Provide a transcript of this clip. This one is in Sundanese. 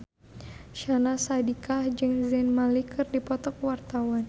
Syahnaz Sadiqah jeung Zayn Malik keur dipoto ku wartawan